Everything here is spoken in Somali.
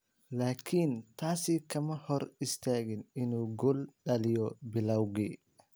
Laakiin taasi kama hor istaagin inuu gool dhaliyo bilowgii.